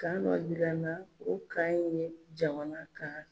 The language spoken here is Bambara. Kan dɔ yirana o kan ye jamana kan.